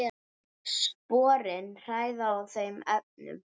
Sporin hræða í þeim efnum.